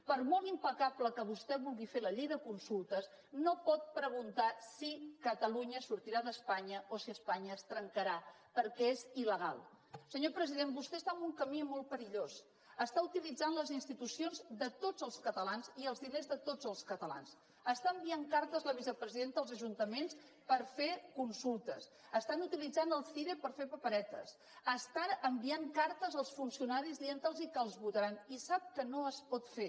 per molt impecable que vostè vulgui fer la llei de consultes no pot preguntar si catalunya sortirà d’espanya o si espanya es trencarà perquè és ilsenyor president vostè està en un camí molt perillós està utilitzant les institucions de tots els catalans i els diners de tots els catalans està enviant cartes la vicepresidenta als ajuntaments per fer consultes estan utilitzant el cire per fer paperetes estan enviant cartes als funcionaris dient los que els votaran i sap que no es pot fer